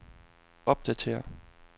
opdatér